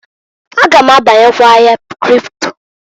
A ga m abanyekwa ahịa kripto.